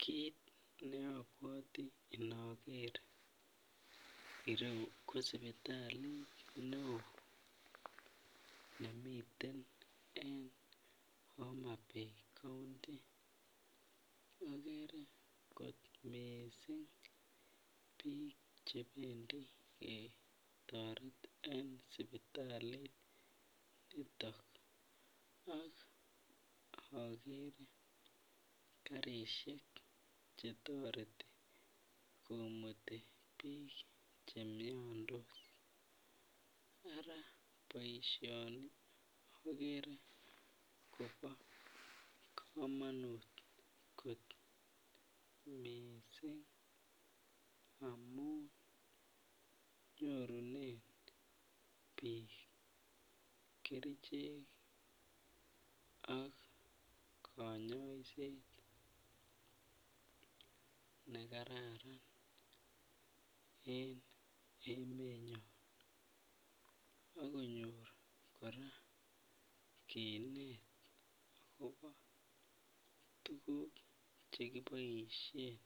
Kit ne obwoti inoger ireu ko sipitalit nemiten eng Homabay [ county] ogere kot miiising bik chebendi ketoret eng sipitalit niton AK ogere garisiek chetoreti komuti bik chemiondos Ara boisioni ogere kobo kamanut kot miiising amun nyorunen bik kerichek ak konyoiset nekararan eng emenyon akonyor korak kinet agobo tuguk chekiboisien